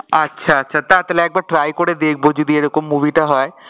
আচ্ছা আচ্ছা তাহলে একবার try করে দেখবো যদি এরকম movie টা হয়